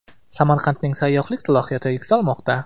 Samarqandning sayyohlik salohiyati yuksalmoqda.